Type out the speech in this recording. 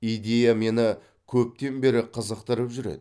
идея мені көптен бері қызықтырып жүр еді